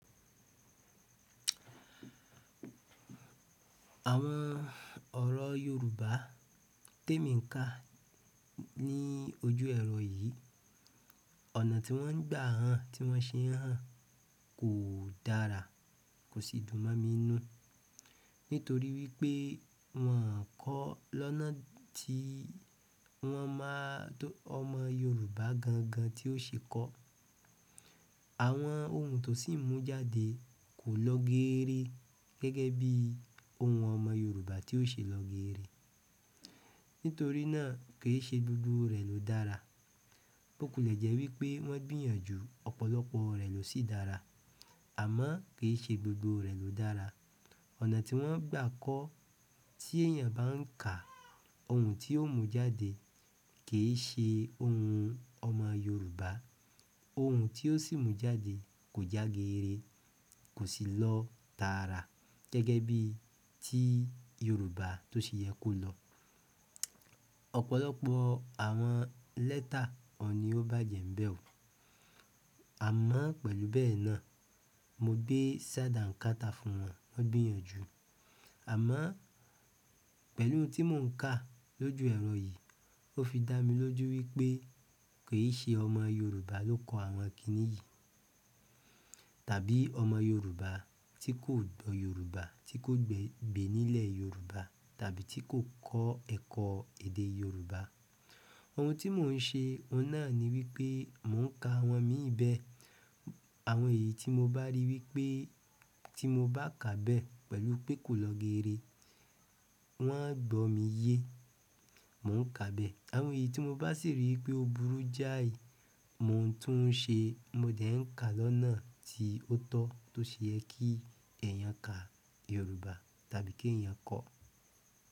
Àwọn ọ̀rọ̀ Yorùbá tí èmi ń kà ní ojú ẹ̀rọ yìí, ọ̀nà tí wọ́n gba ọọ ń, tí wọ́n ṣè ọọn kò dárà, kò sì dùn mọ́ mi ń nú. Nítorí wípé wọn kọ lọ́nà tí wọn màà ọmọ Yorùbá gàngàn tí ó ṣe kọ́. Àwọn òhùn tó sì mú jáde kò lọ gèèrè gẹ́gẹ́ bí òhùn ọmọ Yorùbá tí ó ṣe lọ geere. Nítorí náà kì í ṣe gbogbo rẹ̀ ló dára. Ó kùlẹ̀ jẹ́ wípé wọ́n gbìyànjú ọ̀pọ̀lọpọ̀ rẹ̀ ló sì dára, àmọ́ kì í ṣe gbògbò rẹ̀ ló dára. Ọ̀nà tí wọ́n gbà kọ́ tí èèyàn bá ń kà òhùn tí ó mú jádè kì í ṣè òhùn ọmọ Yorùbá. Òhùn tí ó sì mú jáde kò já gèèrè, kò sì lọ tààrà gẹ́gẹ́ bí tí Yorùbá tó ṣe yẹ kó lọ. Ọ̀pọ̀lọpọ̀ àwọn lẹ́tà ọ̀ọ̀ni ó bàjẹ́ ń bẹ ò. Àmọ́ pẹ̀lú bẹ́ẹ̀ náà mo gbé ṣàdá ń kàtà fún wọn, wọ́n gbìyànjú. Àmọ́ pẹ̀lú òhùn tí mò ń kà lójú ẹ̀rọ yìí ó fi dá mi lójú wípé kì í ṣe ọmọ Yorùbá ló kọ àwọn kíní yìí. Tàbí ọmọ Yorùbá tí kò gbọ́ Yorùbá, tí kò gbé nílẹ̀ Yorùbá tàbí tí kò kọ́ ẹ̀kọ́ èdè Yorùbá. Òhùn tí mò ń ṣe ọ̀nà ni wípé mò ń kà àwọn míì bẹ. Àwọn èyí tí molò bá rí wípé tí mo bá kà bẹ́ẹ̀ pẹ̀lú pé kò lọ geere, wọ́n á gbọ́ mi yé, mò ń kà bẹ́ẹ̀. Àwọn èyí tí mo bá sì rí i wípé ó burú jáì, mò ń tún ùn ṣe, mo dẹ̀ ń kà lọ́nà tí ó tọ́ tó ṣe yẹ kí èèyàn ka Yorùbá tàbí kí èèyàn kọ́.